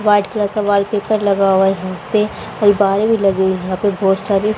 White colour का wallpaper लगा हुआ है यहां पे। लगी हुई है यहां पे बहोत सारी--